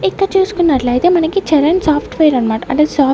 ఇక్కడ చూసుకున్నట్లయితే మనకి చరణ్ సాఫ్ట్వేర్ అన్మాట అంటే సాఫ్--